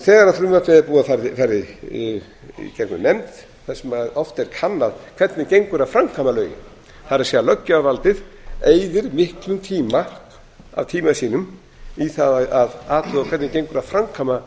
þegar frumvarpið er búið að fara í gegnum nefnd þar sem oft er kannað hvernig gengur að framkvæma lögin það er löggjafarvaldið eyðir miklum tíma af tíma sínum í það að athuga hvernig gengur að framkvæma